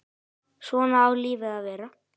Svona á lífið að vera.